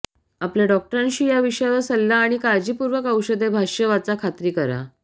आपल्या डॉक्टरांशी या विषयावर सल्ला आणि काळजीपूर्वक औषधे भाष्य वाचा खात्री करा